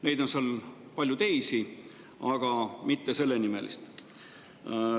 Seal on palju teisi, aga mitte sellenimelist.